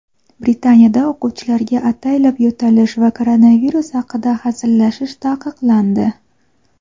Britaniyada o‘quvchilarga ataylab yo‘talish va koronavirus haqida hazillashish taqiqlandi.